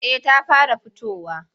Eh ta fara fitowa.